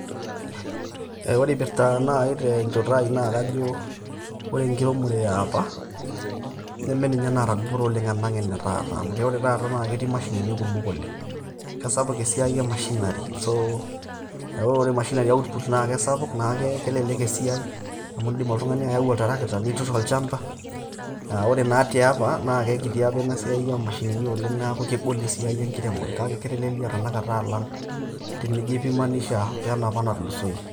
ore ipirta nai tenjoto ai naa kajo, ore inkiremore e apa nimeninye naata dupoto oleng' alang' ene taata amu ore taata naake ketii imashinini kumok oleng'. Kesapuk esiai e machinery, so, eeku ore machinery output kesapuk naake kelelek esiai amu indim oltung'ani ayau oltrakita nitur olchamba, ore naa tiapa naake kiti inisaia oo mashinini neeku kegol esiai enkiremore kake ketelelia tenakata tenijoipimanisha wenapa natulusoyie.